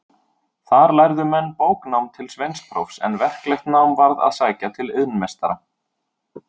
Þar lærðu menn bóknám til sveinsprófs, en verklegt nám varð að sækja til iðnmeistara.